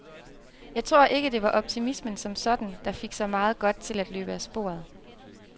Jeg tror ikke, det var optimismen som sådan, der fik så meget godt til at løbe af sporet.